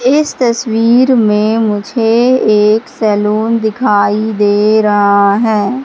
इस तस्वीर में मुझे एक सैलून दिखाई दे रहा है।